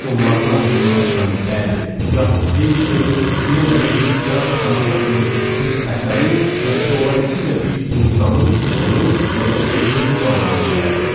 Onların ağzından çıxan bəli, yaxud xeyir sözü Vyanada bir teatr tamaşasının, bir əsərin və dolayısı ilə bir insanın uğuru ya da uğursuzluğu anlamına gəlirdi.